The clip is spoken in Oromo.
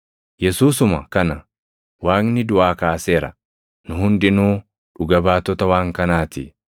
Yesuusuma kana Waaqni duʼaa kaaseera; nu hundinuu dhuga baatota waan kanaa ti.